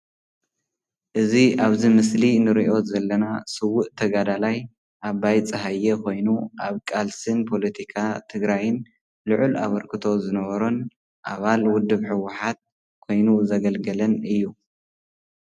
እዚ አብዚ ምስሊ እንሪኦ ዘለና ስውእ ተጋዳላይ አባይ ፀሃየ ኾይኑ አብ ቃልስን ፖሎቲካ ትግራይን ሉዕል አበርክቶ ዝበነሮን አባል ውድብ ሕውሓት ኮይኑ ዘገልግለን እዩ፡፡